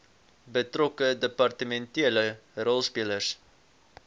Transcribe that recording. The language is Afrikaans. betrokke departementele rolspelers